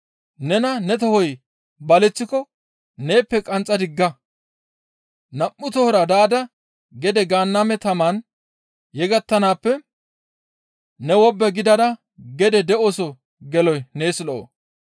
Nena ne tohoy baleththiko neeppe qanxxa digga; nam7u tohora daada gede Gaanname tamaan yegettanaappe ne wobbe gidada gede de7oso geloy nees lo7o.